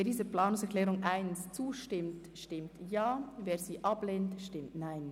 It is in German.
Wer dieser Planungserklärung zustimmt, stimmt Ja, wer diese ablehnt, stimmt Nein.